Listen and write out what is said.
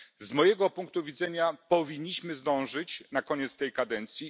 Z mojego punktu widzenia powinniśmy zdążyć przed końcem kadencji.